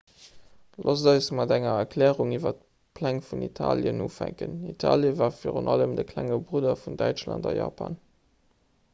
loosst eis mat enger erklärung iwwer d'pläng vun italien ufänken italie war virun allem de klenge brudder vun däitschland a japan